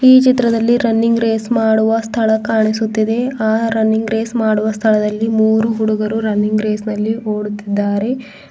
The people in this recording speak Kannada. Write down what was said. ಈ ಚಿತ್ರದಲ್ಲಿ ರನ್ನಿಂಗ್ ರೇಸ್ ಮಾಡುವ ಸ್ಥಳ ಕಾಣಿಸುತ್ತಿದೆ ಆ ರನ್ನಿಂಗ್ ರೇಸ್ ಮಾಡುವ ಸ್ಥಳದಲ್ಲಿ ಮೂರು ಹುಡುಗರು ರನ್ನಿಂಗ್ ರೇಸ್ ನಲ್ಲಿ ಓಡುತ್ತಿದ್ದಾರೆ.